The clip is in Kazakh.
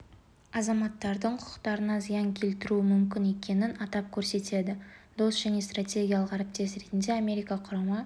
азаматтардың құқықтарына зиян келтіруі мүмкін екенін атап көрсетеді дос және стратегиялық әріптес ретінде америка құрама